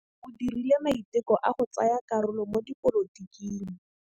O dirile maitekô a go tsaya karolo mo dipolotiking.